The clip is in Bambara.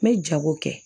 N bɛ jago kɛ